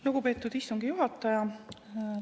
Lugupeetud istungi juhataja!